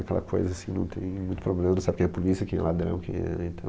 Aquela coisa assim, não tem muito problema, não sabe quem é a polícia, quem é ladrão, quem é... Então...